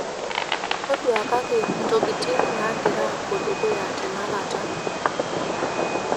toduakaki intokiting' naagira aapo dukuya tenakata